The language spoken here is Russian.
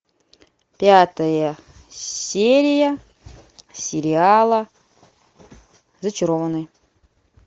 пятая серия сериала зачарованные